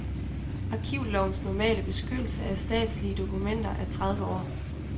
Arkivlovens normale beskyttelse af statslige dokumenter er tredive år.